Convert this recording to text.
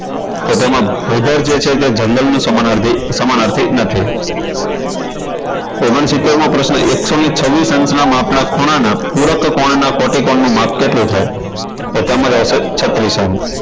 તો તેમાં ભૂદળ જે છે એ જંગલનો સમાનાર્થી સમાનાર્થી નથી ઓગણસિત્તેર મો પ્રશ્ન એકસો ને છવ્વીસ અંશના માપના ખૂણાના પૂરકકોણના કોટીકોણ નું માપ કેટલું થાય તો તેમાં આવશે છત્રીસ અંશ